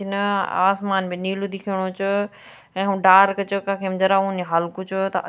इन आसमान भी नीलू दिखेणु च कखम डार्क च कखिम जरा उन्नी ह्वालू कुछ त।